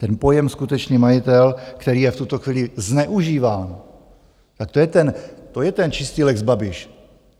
Ten pojem skutečný majitel, který je v tuto chvíli zneužíván, tak to je ten čistý lex Babiš.